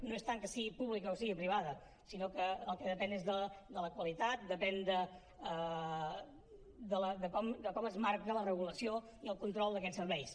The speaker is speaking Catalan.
no és tant que sigui pública o sigui privada sinó que del que depèn és de la qualitat depèn de com es marca la regulació i el control d’aquests serveis